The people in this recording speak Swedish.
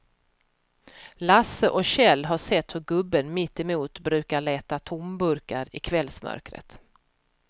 Lasse och Kjell har sett hur gubben mittemot brukar leta tomburkar i kvällsmörkret.